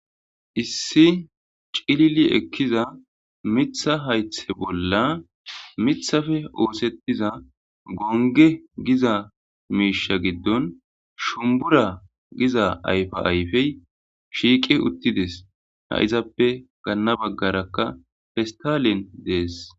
issi ciliili ekiza miiththa hayththe bolla miththafe oosettiza gonge giza miishsha giddon shumbura giza ayfa ayfey shiiqe uttidees ha izappe ganna baggarakka festalen dees